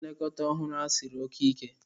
Nlekọta ọhụrụ a siri oke ike.